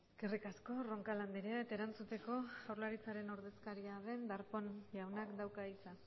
eskerrik asko roncal andrea eta erantzuteko jaurlaritzaren ordezkaria den darpón jaunak dauka hitza